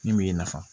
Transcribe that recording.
Min m'e nafa